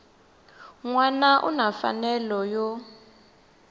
wana u na mfanelo yo